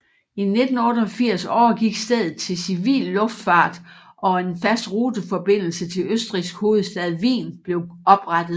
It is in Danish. I 1988 overgik stedet til civil luftfart og en fast ruteforbindelse til Østrigs hovedstad Wien blev oprettet